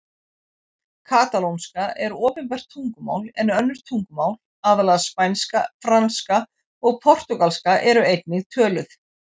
Katalónska er opinbert tungumál en önnur tungumál, aðallega spænska, franska og portúgalska, eru einnig töluð.